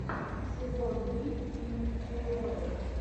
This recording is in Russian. сезон три фильм тюдоры